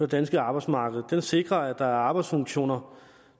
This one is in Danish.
danske arbejdsmarked den sikrer at der er arbejdsfunktioner